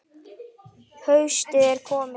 Haustið er komið.